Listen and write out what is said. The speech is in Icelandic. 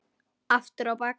Aftur á bak.